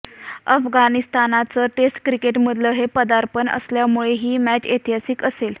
अफगाणिस्तानचं test क्रिकेटमधलं हे पदार्पण असल्यामुळे ही मॅच ऐतिहासिक असेल